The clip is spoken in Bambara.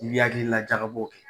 I bɛ hakilila jagabɔ kɛ.